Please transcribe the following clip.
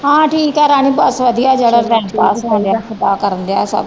ਹਾਂ ਠੀਕ ਆ ਰਾਣੀ ਬਸ ਵਧੀਆ ਜਿਹੜਾ ਟਾਇਮ ਪਾਸ